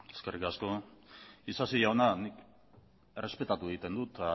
eskerrik asko isasi jauna errespetatu egiten dut